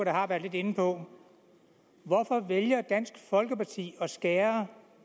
har været lidt inde på hvorfor vælger dansk folkeparti at skære